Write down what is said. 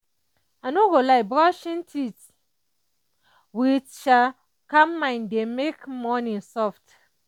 i no go lie brushing teeth with calm mind dey make morning soft.